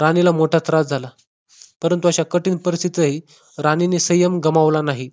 राणीला मोठा त्रास झाला परंतु अशा कठीण परिस्थितीतही राणीने संयम गमावला नाही